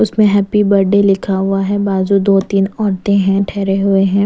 उसमें happy birthday लिखा हुआ है बाज़ू दो तीन औरतें हैं ठहरें हुए हैं।